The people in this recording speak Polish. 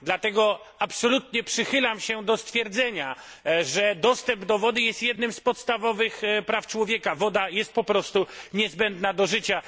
Dlatego absolutnie przychylam się do stwierdzenia, że dostęp do wody jest jednym z podstawowych praw człowieka, woda jest po prostu niezbędna do życia.